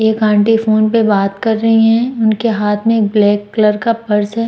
एक aunty phone पे बात कर रही है उनके हाथ में एक ब्लैक कलर का पर्स है।